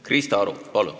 Krista Aru, palun!